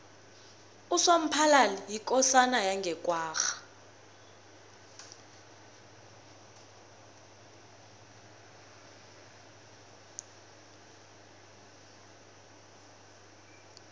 usomphalali yikosana yange kwagga